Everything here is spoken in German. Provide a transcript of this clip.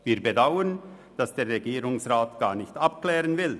Wir bedauern, dass der Regierungsrat dies gar nicht abklären will.